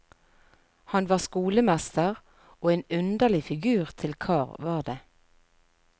Han var skolemester, og en underlig figur til kar var det.